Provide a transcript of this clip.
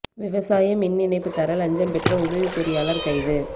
விவசாய மின் இணைப்பு தர லஞ்சம் பெற்ற உதவிப் பொறியாளா் கைது